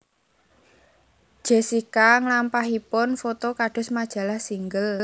Jessica nglampahipun foto kados majalah Single